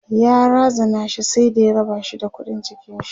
ya razana shi sai da ya rabashi da ƙuɗin jikinshi